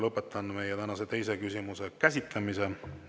Lõpetan meie tänase teise küsimuse käsitlemise.